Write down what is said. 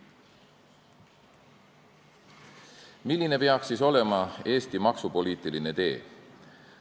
Milline peaks siis olema Eesti maksupoliitiline tee?